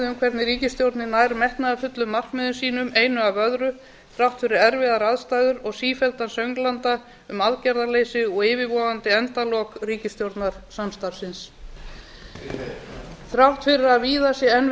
hvernig ríkisstjórnin nær metnaðarfullum markmiðum sínum einu af öðru þrátt fyrir erfiðar aðstæður og sífelldan sönglanda um aðgerðarleysi og yfirvofandi endalok ríkisstjórnarsamstarfsins þrátt fyrir að víða sé enn við